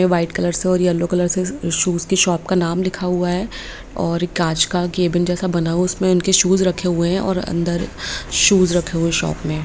White colour से और yellow colour से शूज की शॉप का नाम लिखा हुआ और कांच का केबिन जैसा बना हुआ है उसमें उनके शूज रखे हुए हैं और अंदर शूज रखे हुए हैं शॉप में।